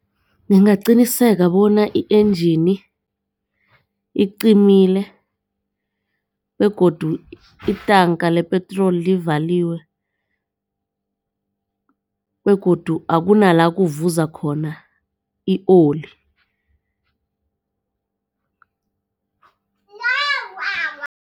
Ngingaqiniseka bona i-enjini icimile begodu itanka lepetroli ivaliwe begodu akunala kuvuza khona i-oli.